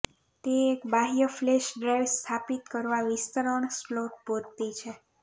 તે એક બાહ્ય ફ્લેશ ડ્રાઇવ સ્થાપિત કરવા વિસ્તરણ સ્લોટ પૂરતી છે